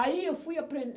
Aí, eu fui